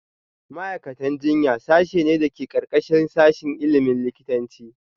Ma’aikatan jinya sashe ne da ke ƙarƙashin sashin ilimin likitanci